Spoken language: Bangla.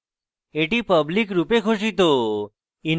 এটি public রূপে ঘোষিত